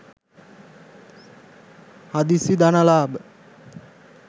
හදිසි ධන ලාභ